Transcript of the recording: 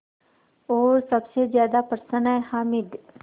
और सबसे ज़्यादा प्रसन्न है हामिद